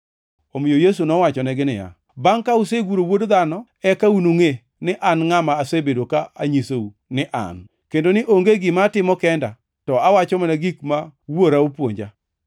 Omiyo Yesu nowachonegi niya, “Bangʼ ka useguro Wuod Dhano eka unungʼe ni an ngʼama asebedo ka anyisou ni an, kendo ni onge gima atimo kenda, to awacho mana gik ma Wuora opuonja.